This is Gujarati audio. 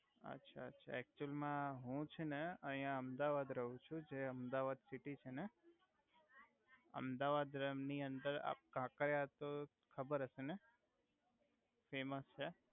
અછા અછા એક્ચુલ મા હુ છે ને અહિયા અમદાવાદ રવ છુ જે અમદાવાદ સિટી છે ને અમદાવાદ ની અંદર આ કાકરિયા તો ખબર હસે ને ફેમસ છે.